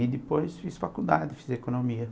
E depois fiz faculdade, fiz economia.